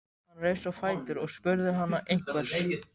Hann reis á fætur og spurði hana einhvers.